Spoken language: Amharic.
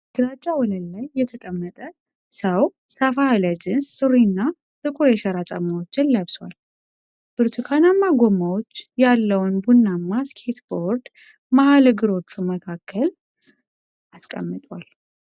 በግራጫ ወለል ላይ የተቀመጠ ሰው ሰፋ ያለ ጂንስ ሱሪና ጥቁር የሸራ ጫማዎችን ለብሷል። ብርቱካናማ ጎማዎች ያለውን ቡናማ ስኬትቦርድ መሃል እግሮቹ መካከል አስቀምጧል